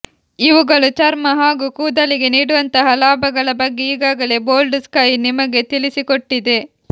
ಇವುಗಳು ಚರ್ಮ ಹಾಗೂ ಕೂದಲಿಗೆ ನೀಡುವಂತಹ ಲಾಭಗಳ ಬಗ್ಗೆ ಈಗಾಗಲೇ ಬೋಲ್ಡ್ ಸ್ಕೈ ನಿಮಗೆ ತಿಳಿಸಿಕೊಟ್ಟಿದೆ